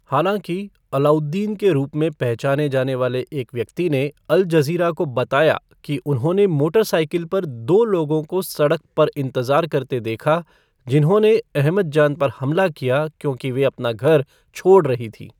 हालाँकि, अलाउद्दीन के रूप में पहचाने जाने वाले एक व्यक्ति ने अल जज़ीरा को बताया कि उन्होंने मोटरसाइकिल पर दो लोगों को सड़क पर इंतजार करते देखा, जिन्होंने अहमद जान पर हमला किया क्योंकि वे अपना घर छोड़ रही थी।